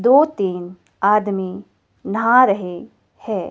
दो तीन आदमी नहा रहे हैं।